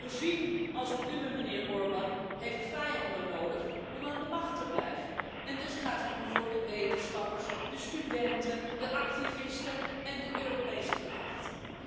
Een regime als het uwe, mijnheer Orban, heeft vijanden nodig om aan de macht te blijven en dus gaat u nu voor de wetenschappers, de studenten, de activisten en de Europese gedachte.